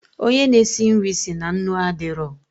Onye na esi nri si na nnu adịrọ